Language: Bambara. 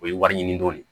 O ye wari ɲini dɔ de ye